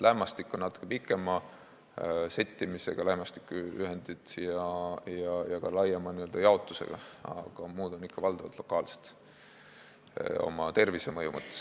Lämmastikuühendid on natuke pikema settimisega ja ka laiema n-ö jaotusega, aga muud on tervisemõju mõttes ikka valdavalt lokaalsed.